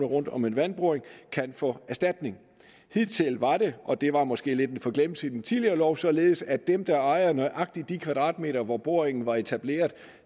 rundt om en vandboring kan få erstatning hidtil var det og det var måske lidt en forglemmelse i den tidligere lov således at dem der ejer nøjagtig de kvadratmeter hvor boringen var etableret